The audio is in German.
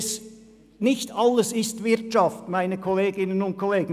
Nicht alles ist Wirtschaft, Kolleginnen und Kollegen.